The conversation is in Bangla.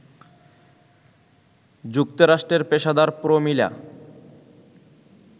যুক্তরাষ্ট্রের পেশাদার প্রমীলা